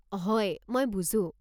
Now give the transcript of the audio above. হয়, মই বুজো।